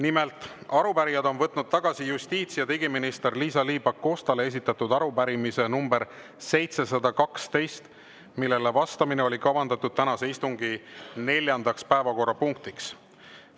Nimelt, arupärijad on võtnud tagasi justiits‑ ja digiminister Liisa-Ly Pakostale esitatud arupärimise nr 712, millele vastamine oli kavandatud tänase istungi neljandaks päevakorrapunktiks.